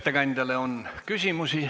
Ettekandjale on küsimusi.